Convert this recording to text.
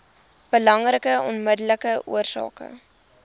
belangrikste onmiddellike oorsake